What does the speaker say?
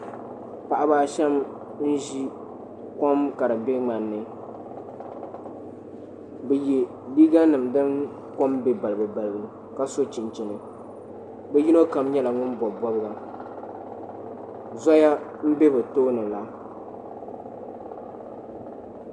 Paɣiba a shɛm n zi kom ka di bɛ ŋmani ni bi yiɛ liiga nim dini kom bɛ balibu balibu ka so chinchinia bi yino kam nyɛla ŋuni bɔbi bɔbiga zoya n bɛ bi tooni la.